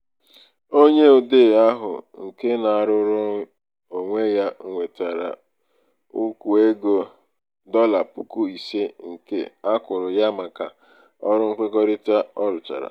onye odee ahụ nke um na-arụrụ onwe ya nwetara ukwu ego dọla puku ise nke um a kwụrụ ya maka ọrụ nkwekọrịta um ọ rụchara.